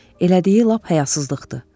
Elədiyi lap həyasızlıqdır.